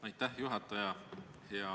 Aitäh, juhataja!